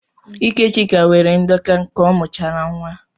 Íkè Chiaka nwere ndọka ka ọ mụchara nwa.